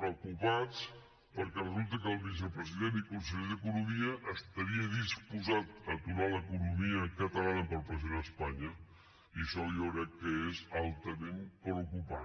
preocupats perquè resulta que el vicepresident i conseller d’economia estaria disposat a aturar l’economia catalana per pressionar espanya i això jo crec que és altament preocupant